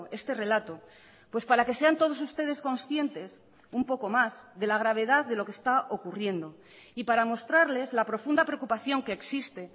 este relato pues para que sean todos ustedes conscientes un poco más de la gravedad de lo que está ocurriendo y para mostrarles la profunda preocupación que existe